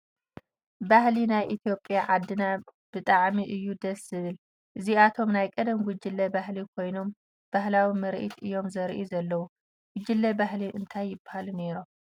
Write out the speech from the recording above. ባህሊ ናይ ኢ/ያ ዓድና ብጣዕሚ እዩ ደስ ዝብል እዚኣቶም ናይ ቐደም ጉጅለ ባህሊ ኾይኖም ባህላዊ ምርኢት እዮም ዘርእዩ ዘለዉ ፡ ጉጅለ ባህሊ እንታይ ይበሃሉ ነይሮም ?